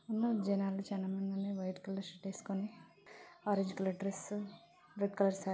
ఉన్నారు జనాలు చాల మంది వైట్ కలర్ షర్ట్ వేసుకొని orange colour dress red colour సా --